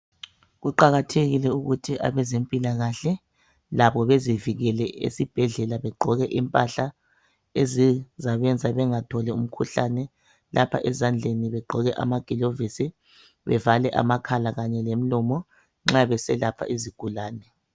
Kuqakathekile ukuthi abezempilakahle labo bezivikele ezibhedlela begqoke impahla ezizabenza bengatholi imikhuhlane lapha ezandleni begqoke amagilovisi bevale amakhala kanye lemilomo nxa beselapha izigulane.